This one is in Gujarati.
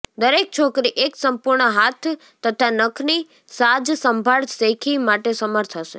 દરેક છોકરી એક સંપૂર્ણ હાથ તથા નખની સાજસંભાળ શેખી માટે સમર્થ હશે